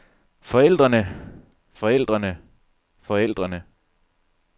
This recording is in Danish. forældrene forældrene forældrene